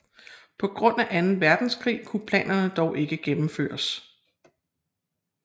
På grund af Anden Verdenskrig kunne planerne dog ikke gennemføres